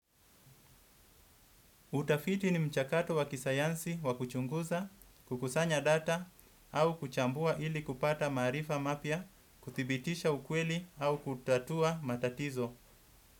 Utafiti ni mchakato wa kisayansi wa kuchunguza, kukusanya data au kuchambua ili kupata maarifa mapya, kuthibitisha ukweli au kutatua matatizo.